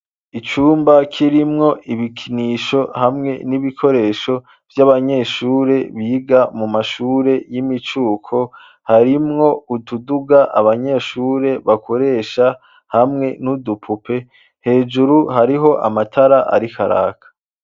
Icumba kirimwo ibikinisho hamwe n'ibikoresho vy'abanyeshure biga mu mashure y'imicuko harimwo ududuga abanyeshure bakoresha hamwe n'udupupe hejuru hariho amatara ari karaka.